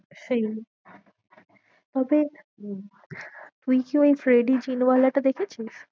সেই তবে উম তুই ওই রেডি জিনওয়ালাটা দেখেছিস?